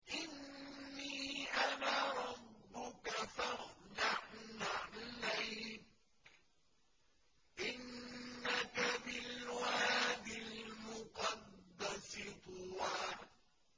إِنِّي أَنَا رَبُّكَ فَاخْلَعْ نَعْلَيْكَ ۖ إِنَّكَ بِالْوَادِ الْمُقَدَّسِ طُوًى